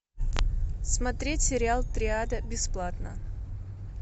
смотреть сериал триада бесплатно